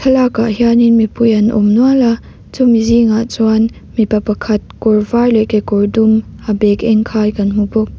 lak ah hian in mipui an awm nual a chumi zingah chuan mipa pakhat kawr var leh kekawr dum a bag eng khai kan hmu bawk.